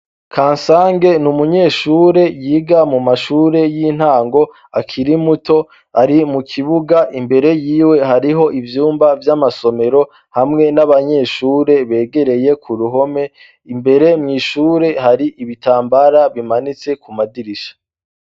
kansange n' umunyeshure yiga mumashure y'intango akirimuto ari mukibuga imbere yiwe hariho ivyumba vy'amasomero hamwe n'abanyeshure begereye ku ruhome imbere mw' ishure hari ibitambara bimanitse kumadirisha